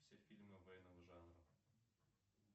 все фильмы военного жанра